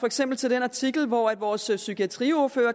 eksempel til den artikel hvor vores psykiatriordfører